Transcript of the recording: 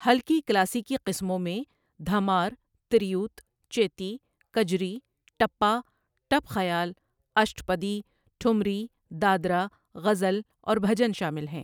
ہلکی کلاسیکی قسموں میں دھمار، تریوت، چیتی، کجری، ٹپا، ٹپ خیال، اشٹپدی، ٹھمری، دادرا، غزل اور بھجن شامل ہیں۔